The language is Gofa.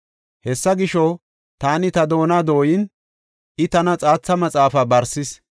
Hessa gisho, taani ta doona dooyin, I tana xaaxa maxaafa barsis.